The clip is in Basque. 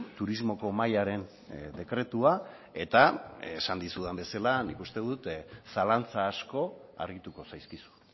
turismoko mahaiaren dekretua eta esan dizudan bezala nik uste dut zalantza asko argituko zaizkizu